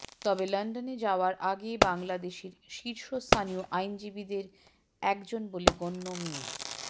তবে লন্ডনে যাওয়ার আগে বাংলাদেশের শীর্ষস্থানীয় আইনজীবীদের একজন বলে গণ্য মি